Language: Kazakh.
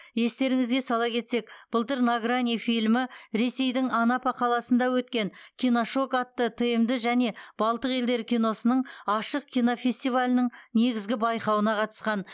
естеріңізге сала кетсек былтыр на грани фильмі ресейдің анапа қаласында өткен киношок атты тмд және балтық елдері киносының ашық кинофестивалінің негізгі байқауына қатысқан